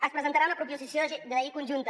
es presentarà una proposició de llei conjunta